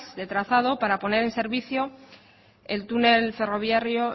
de trazado para poner en servicio el túnel ferroviario